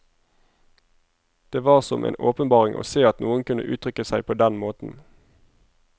Det var som en åpenbaring å se at noen kunne uttrykke seg på den måten.